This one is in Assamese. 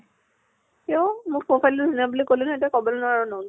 কিয়? মোৰ profile টো ধুনীয়া বুলি কলি নহয় এতিয়া কবলৈ নোৱাৰʼ non